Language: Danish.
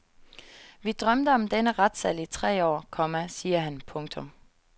Vi drømte om denne retssal i tre år, komma siger han. punktum